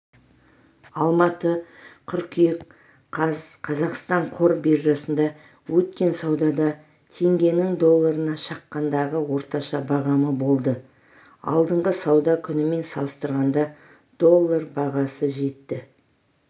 алматы қыркүйек қаз қазақстан қор биржасында өткен саудада теңгенің долларына шаққандағы орташа бағамы болды алдыңғы сауда күнімен салыстырғанда доллар бағасы жетті